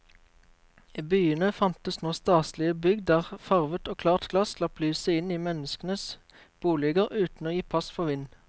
I byene fantes nå staselige bygg der farvet og klart glass slapp lyset inn i menneskenes boliger uten å gi pass for vind.